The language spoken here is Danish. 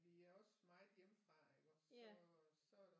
Vi er også meget hjemmefra iggås så så